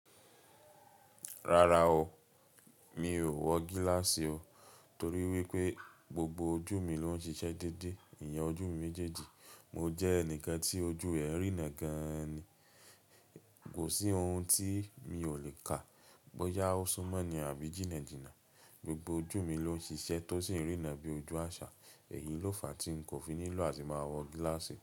Rárá o, mi ò wọ gíláàsì o torí wípé gbogbo ojú mi ló ń ṣiṣẹ́ déédé. Eyan ojú mi méjèèjì, mo jẹ́ ẹnìkan tí ojú ẹ́ rìnà gan-an ni. Kò sí ohun tí mi ò lè kà, bóyá ó súmọ́ni àbí jíjìnà, gbogbo ojú mi ló ń ṣiṣẹ́ tó sì ń rìnà bí ojú àṣà. Èyi ló fàá tí n kò fi nílò àti máa wọ gíláàsì.